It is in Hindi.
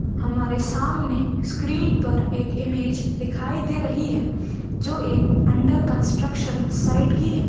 हमारे सामने स्क्रीन पर एक इमेज दिखाई दे रही है जो एक अंडर कंस्ट्रक्शन साइट की है।